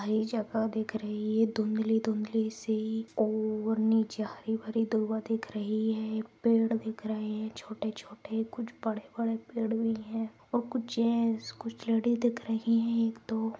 हरी जगह दिख रही है धुंधली-धुंधली सी और नीचे हरी-भरी दुभा दिख रही है पेड़ दिख रहे है ये छोटे-छोटे कुछ बड़े-बड़े पेड़ भी है और कुछ जेन्ट्स कुछ लेडिज दिख रही एक दो।